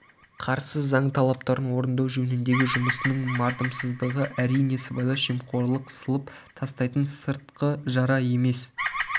қарсы заң талаптарын орындау жөніндегі жұмысының мардымсыздығы әрине сыбайлас жемқорлық сылып тастайтын сыртқы жара емес